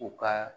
U ka